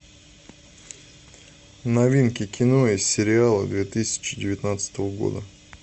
новинки кино и сериалы две тысячи девятнадцатого года